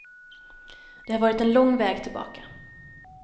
Det har varit en lång väg tillbaka.